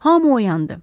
Hamı oyandı.